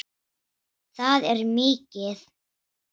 Það er mikið.